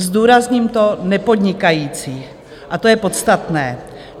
Zdůrazním to nepodnikajících - a to je podstatné.